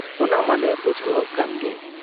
ᱚᱱᱟ ᱢᱟᱞᱮ ᱵᱩᱡᱷᱟᱹᱣᱜ ᱠᱟᱱ ᱜᱮ ᱾